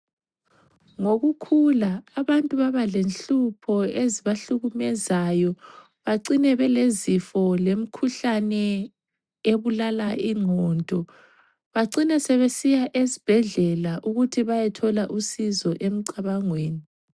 Ngokukhula abantu babalenhlupho ezibahlukumezayo. Bacine belezifo lemikhuhlane ebulala ingqondo. Bacine sebesiya esibhedlela ukuthi bayethola usizo emcabangweni.